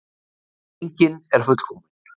Enginn er fullkominn.